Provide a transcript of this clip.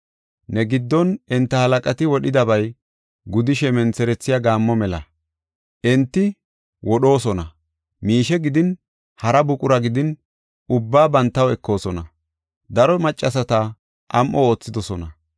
Ne giddon enta halaqati wodhidaba gudishe mentherethiya gaammo mela; enti wodhoosona; miishe gidin, hara buqura gidin, ubbaa bantaw ekoosona; daro maccasata am7o oothidosona.